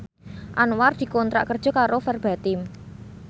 Anwar dikontrak kerja karo Verbatim